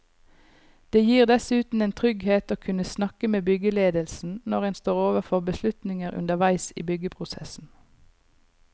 Det gir dessuten en trygghet å kunne snakke med byggeledelsen når en står overfor beslutninger underveis i byggeprosessen.